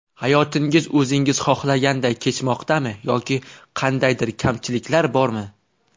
Hayotingiz o‘zingiz xohlaganday kechmoqdami yoki kandaydir kamchiliklar bormi?